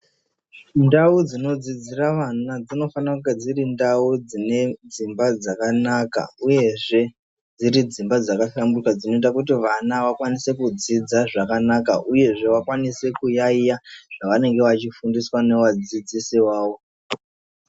Ndau dzinodzidzira vantu dzinofana kunge dziri ndau dzine dzimba dzakanaka uyezve dziri dzimba dzakahlamburuka dzino vakwanise kudzidza zvakanaka kuti vakwanise kuyaiya zvavanenge vachifundiswa nevadzidzisi vavo.